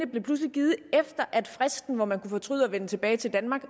blev pludselig givet efter at fristen hvor man kunne fortryde og vende tilbage til danmark